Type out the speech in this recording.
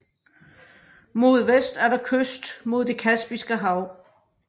Mod vest er der kyst mod det Kaspiske Hav